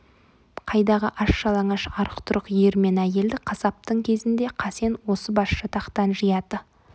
қайдағы аш-жалаңаш арық-тұрық ер мен әйелді қасаптың кезінде қасен осы басжатақтан жияды